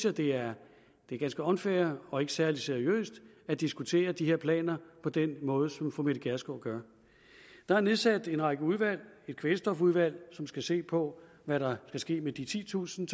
at det er ganske unfair og ikke særlig seriøst at diskutere de her planer på den måde som fru mette gjerskov gør der er nedsat en række udvalg et kvælstofudvalg som skal se på hvad der skal ske med de titusind